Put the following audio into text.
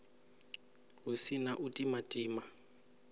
hu si na u timatima